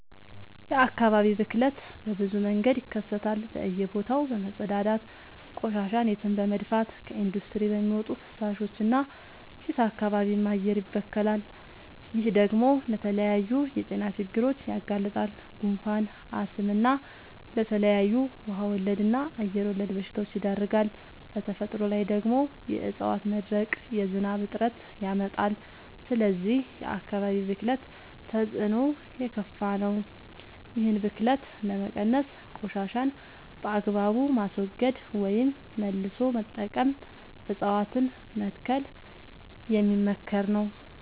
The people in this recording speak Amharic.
የአካባቢ ብክለት በብዙ መንገድ ይከሰታል በእየ ቦታው በመፀዳዳት፤ ቆሻሻን የትም በመድፍት፤ ከኢንዲስትሪ በሚወጡ ፍሳሾች እና ጭስ አካባቢም አየርም ይበከላል። ይህ ደግሞ ለተለያዩ የጤና ችግሮች ያጋልጣል። ጉንፋን፣ አስም እና ለተለያዩ ውሃ ወለድ እና አየር ወለድ በሽታወች ይዳርጋል። በተፈጥሮ ላይ ደግሞ የዕፀዋት መድረቅ የዝናብ እጥረት ያመጣል። ስለዚህ የአካባቢ ብክለት ተፅዕኖው የከፋ ነው። ይህን ብክለት ለመቀነስ ቆሻሻን በአግባቡ ማስወገድ ወይም መልሶ መጠቀም እፀዋትን መትከል የሚመከር ነው።